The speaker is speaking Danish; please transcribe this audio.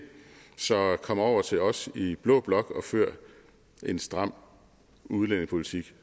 så kom over til os i blå blok og før en stram udlændingepolitik